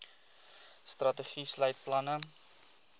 strategie sluit planne